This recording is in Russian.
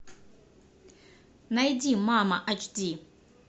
найди мама ач ди